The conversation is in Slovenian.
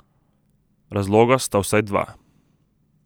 Razloga sta vsaj dva.